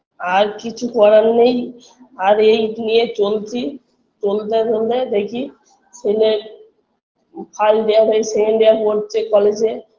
আর কিছু করার নেই আর এই নিয়ে চলছি চলতে চলতে দেখি ছেলের first year হয়ে second year পড়ছে college -এ